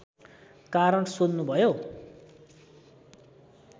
कारण सोध्नुभयो